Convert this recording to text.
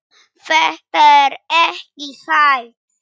Þetta er ekki hægt.